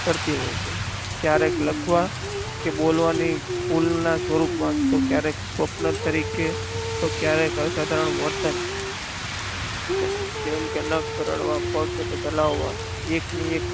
કરતી હોય છે. ક્યારેક લખવા કે બોલવાની ઉલના સ્વરૂપની તો ક્યારેક સ્વપ્ન તરીકે તો ક્યારેક અસાધારણ વર્તન જેમ કે નખ કરડવા પગ ચલાવવા એકની એક કરતી હોય છે.